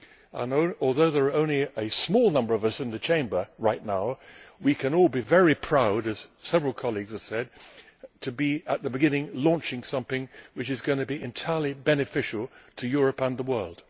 and although there are only a small number of us in the Chamber right now, we can all be very proud, as several colleagues have said, to be in at the beginning, launching something which is going to be entirely beneficial to Europe and the world.